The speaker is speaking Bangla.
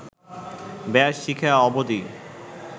ব্যস, শিখে অবদি